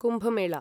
Kumbh Mela